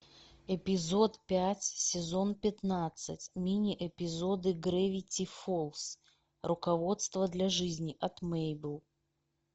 эпизод пять сезон пятнадцать мини эпизоды гравити фолз руководство для жизни от мэйбл